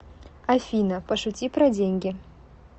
афина пошути про деньги